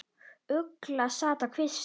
Ugla sat á kvisti.